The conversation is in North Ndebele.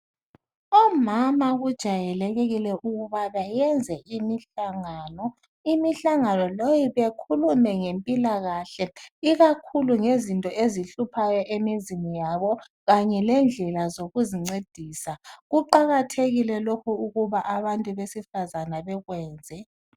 Omama kujayelekile ukubana bayenze imihlangano. imihlangano le bekhulume ngempilakahle, lkakhulu ngezinto ezihluphayo emizini yabo. Kanye lendlela zokuzincedisa. Kuqakathekile lokhu ukuthi abantu besifazana bekwenze,